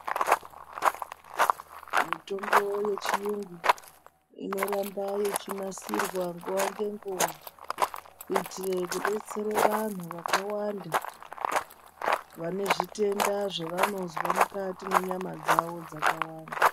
Mitombo yechiyungu inoramba ichinasirwa nguwa ngenguwa, kuyitire kudetsere vanhu vakawanda vanezvitenda zvavanozve mukati menyama dzawo dzakawanda.